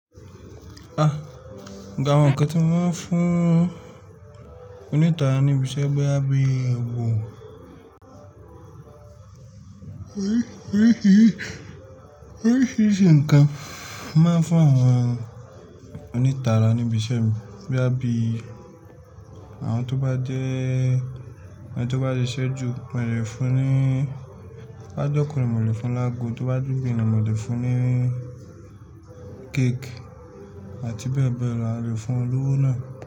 Ah! Ga ọ̀ǹkà tí wọ́n máa ń fún onítàran níbi iṣẹ́ gẹ́gẹ́ bí àbí òwò. Oríṣìíríṣìí nǹkan máa ń fún àwọn onítàran níbi iṣẹ́ gẹ́gẹ́ bí àwọn tó bá jẹ́, àwọn tó bá ti ṣẹ́jú mo lè fún ní, bá dọ́kùn mi mo lè fún lágo, tó bá dùbítì mi mo lè fún ní cake àti bẹ́ẹ̀ bẹ́ẹ̀ lọ, a lè fún olówó náà.